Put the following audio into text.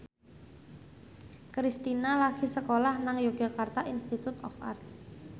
Kristina lagi sekolah nang Yogyakarta Institute of Art